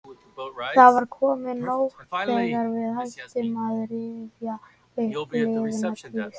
Það var komin nótt þegar við hættum að rifja upp liðna tíð.